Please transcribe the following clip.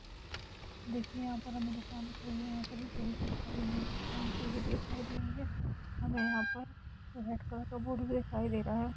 देखिये हमे यंहा पैर दुकान दिख रही है हमे दिखाई दे रही है हमे यंहा पर रेड कलर का बोर्ड भी दिखाई दे रहा है।